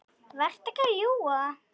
Vertu ekki að ljúga!